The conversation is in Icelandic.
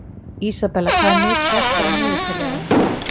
Isabella, hvað er mikið eftir af niðurteljaranum?